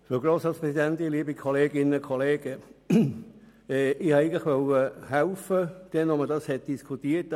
Eigentlichwollte ich mit meinem Ordnungsantrag damals helfen, als hier alle Zeiten diskutiert wurden.